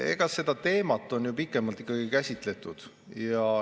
Eks seda teemat on pikemalt käsitletud.